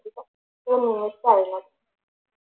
ഒരു നിമിഷമായിരുന്നു.